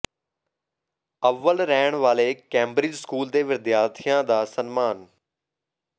ਅੱਵਲ ਰਹਿਣ ਵਾਲੇ ਕੈਂਬਰਿਜ ਸਕੂਲ ਦੇ ਵਿਦਿਆਰਥੀਆਂ ਦਾ ਸਨਮਾਨ